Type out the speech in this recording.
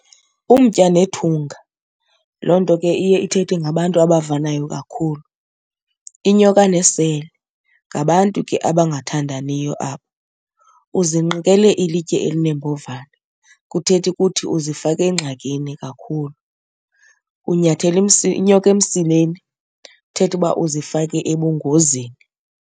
Umtya nethunga, loo nto ke iye ithethe ngabantu abavanayo kakhulu. Inyoka nesele, ngabantu ke abangathandaniyo abo. Uzinqikele ilitye elinombovane, kuthetha ukuthi uzifake engxakini kakhulu. Unyathele inyoka emsileni, ithetha uba uzifake ebungozini.